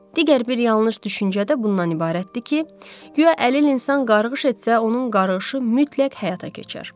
Digər bir yanlış düşüncə də bundan ibarətdir ki, guya əlil insan qarğış etsə, onun qarğışı mütləq həyata keçər.